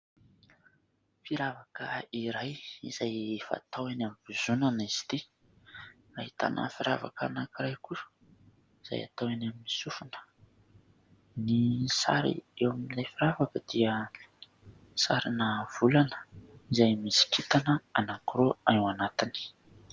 Firavaka iray izay fatao eny am-bozonana izy ity. Ahitana firavaka anankiray kosa izay atao eny amin'ny sofina. Ny sary eo amin'ilay firavaka dia sarina volana izay misy kintana anankiroa ao anatiny.